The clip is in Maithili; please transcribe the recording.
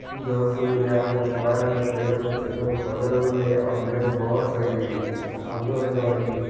दस गो ग्यारह गो बारह गो तेरह गो चौदह गो पंद्रह गो हई उने एगो बस हई उमहरो हई गाड़ी--